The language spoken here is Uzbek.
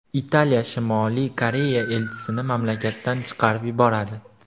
Italiya Shimoliy Koreya elchisini mamlakatdan chiqarib yuboradi.